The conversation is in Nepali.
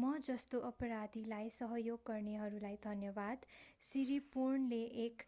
म जस्तो अपराधीलाई सहयोग गर्नेहरूलाई धन्यवाद सिरिपोर्नले एक